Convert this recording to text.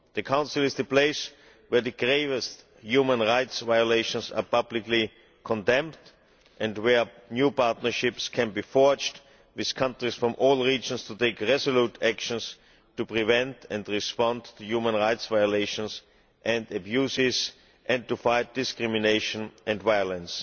The Council is the place where the gravest human rights violations are publicly condemned and where new partnerships can be forged with countries from all regions to take resolute action to prevent and respond to human rights violations and abuses, and to fight discrimination and violence.